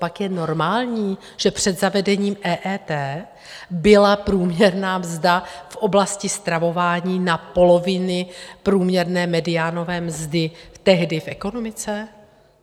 Copak je normální, že před zavedením EET byla průměrná mzda v oblasti stravování na polovině průměrné mediánové mzdy tehdy v ekonomice?